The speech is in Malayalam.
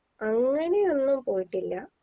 അങ്ങനെയൊന്നും പോയിട്ടില്ല